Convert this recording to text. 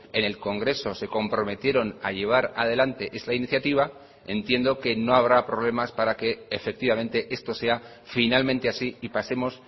en el congreso se comprometieron a llevar adelante esta iniciativa entiendo que no habrá problemas para que efectivamente esto sea finalmente así y pasemos